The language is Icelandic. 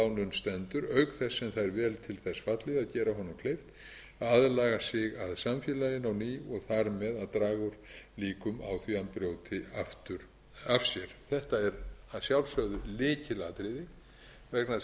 stendur auk þess sem það er vel til þess fallið að gera honum kleift að aðlaga sig samfélaginu á ný og þar með að draga úr líkum á því að hann brjóti aftur af sér þetta er að sjálfsögðu lykilatriði vegna þess að refsing er